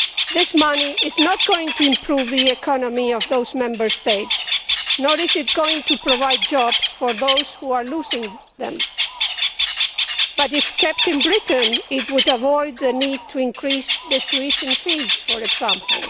This money is not going to improve the economy of those Member States, nor is it going to provide jobs for those who are losing them, but if kept in Britain, it would avoid the need to increase the tuition fees, for example.